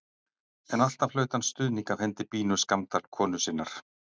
En alltaf hlaut hann stuðning af hendi Bínu Skammdal konu sinnar.